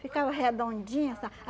Ficava redondinha, sa